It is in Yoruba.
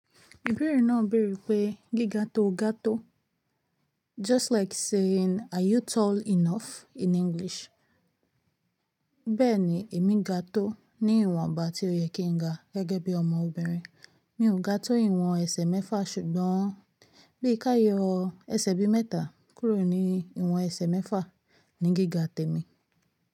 Ibeere náà béèrè pé gíga tó o ga tó? Just like saying are you tall enough in English. Bẹ́ẹ̀ni èmi ga tó ní ìwọ̀nba tí ó yẹ kí n ga gẹ́gẹ́ bí ọmọbìnrin. Mi ò ga tó ìwọ̀n ẹsẹ̀ mẹ́fà ṣùgbọ́n bí i ká yọ ẹsẹ̀ bí mẹ́ta kúrò ní ìwọ̀n ẹsẹ̀ mẹ́fà ni gíga tèmi.